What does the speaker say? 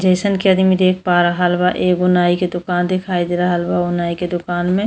जइसन के आदमी देख पा रहल बा एगो नाइ के दुकान देखाई दे रहल बा ओ नाइ के दुकान में --